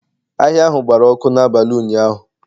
Ahịa ahụ gbara ọkụ n'abalị ụnyahụ